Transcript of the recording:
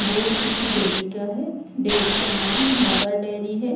Board किसी dairy का है डेयरी का नाम मदर डेयरी है।